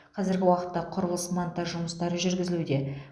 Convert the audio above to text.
қазіргі уақытта құрылыс монтаж жұмыстары жүргізілуде